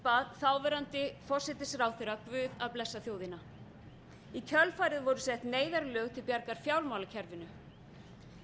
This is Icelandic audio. bað þáverandi forsætisráðherra guð að blessa þjóðina í kjölfarið voru sett neyðarlög til bjargar fjármálakerfinu